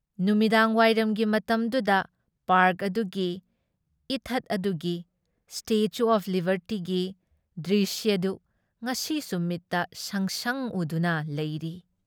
ꯅꯨꯃꯤꯗꯥꯡꯋꯥꯏꯔꯝꯒꯤ ꯃꯇꯝꯗꯨꯗ ꯄꯥꯔꯛ ꯑꯗꯨꯒꯤ, ꯏꯊꯠ ꯑꯗꯨꯒꯤ, ꯁ꯭ꯇꯦꯆꯨ ꯑꯣꯐ ꯂꯤꯕꯔꯇꯤꯒꯤ ꯗ꯭ꯔꯤꯁ꯭ꯌꯗꯨ ꯉꯁꯤꯁꯨ ꯃꯤꯠꯇ ꯁꯪꯁꯪ ꯎꯗꯨꯅ ꯂꯩꯔꯤ ꯫